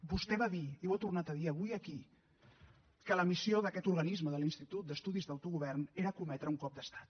vostè va dir i ho ha tornat a dir avui aquí que la missió d’aquest organisme de l’institut d’estudis de l’autogovern era cometre un cop d’estat